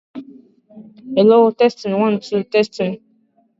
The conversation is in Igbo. Ha na-alụsọ ọzọdimgba ọgụ.